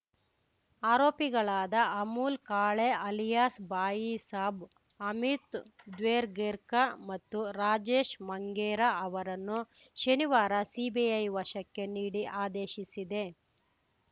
ಆರೋಪಿಗಳಾದ Amol Kale alias Baisaab Amit Dvergerka ಮತ್ತು ರಾಜೇಶ್‌ ಮಂಗೇರಾ ಅವರನ್ನು ಶನಿವಾರ ಸಿಬಿಐ ವಶಕ್ಕೆ ನೀಡಿ ಆದೇಶಿಸಿದೆ